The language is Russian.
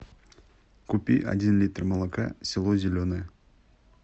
купи один литр молока село зеленое